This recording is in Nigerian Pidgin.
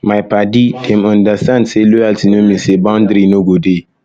my paddy dem understand sey loyalty no mean sey boundary no go dey